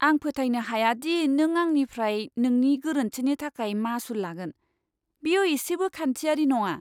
आं फोथायनो हाया दि नों आंनिफ्राय नोंनि गोरोन्थिनि थाखाय मासुल लागोन। बेयो एसेबो खान्थिआरि नङा।